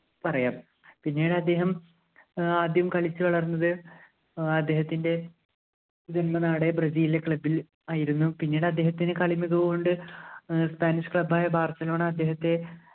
പറയാം പിന്നീട് അദ്ദേഹം ഏർ ആദ്യം കളിച്ചുവളർന്നത് അദ്ദേഹത്തിൻ്റെ ജന്മനാടായ ബ്രസീലിലെ club ൽ ആയിരുന്നു പിന്നീട് അദ്ദേഹത്തിൻ്റെ കളിമികവ് കൊണ്ട് spanish club ആയ barcelona അദ്ദേഹത്തെ